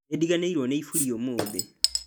Nĩndiganĩirwo nĩ iburi ũmũthĩ